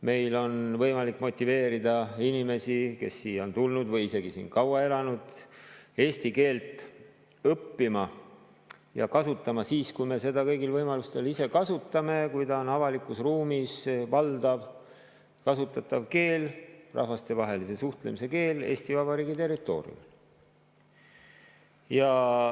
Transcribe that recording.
Meil on võimalik motiveerida inimesi, kes siia on tulnud või isegi siin kaua elanud, eesti keelt õppima ja kasutama siis, kui me seda ise kõigil võimalustel kasutame, ehk siis, kui see on avalikus ruumis valdavalt kasutatav keel ja rahvastevahelise suhtlemise keel Eesti Vabariigi territooriumil.